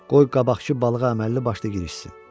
Qoy qabaqçı balığa əməlli başlı girişsin.